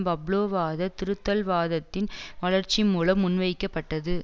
பப்லோவாத திருத்தல்வாதத்தின் வளர்ச்சி மூலம் முன்வைக்கப்பட்டது